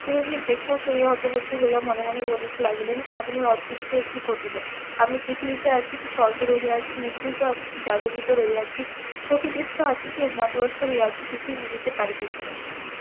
চিরঞ্জিব দেখিয়া শুনিয়া হতবুদ্ধি হইয়া মনে মনে বলিতে লাগিলেন আজ আমার অদৃষ্টে এ কি ঘটিল আমি পৃথিবীতে আছি কি স্বর্গে রহিয়াছি নিভৃত আছি কি জাগরিত রহিয়াছি প্রকৃতিস্থ আছি কি উন্মাদ . কিছুই বুঝিতে পারিতেছি না